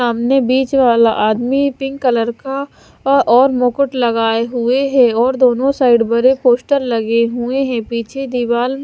सामने बीच वाला आदमी पिंक कलर का और मुकुट लगाए हुए है और दोनों साइड पर एक पोस्टर लगे हुए हैं पीछे दीवाल --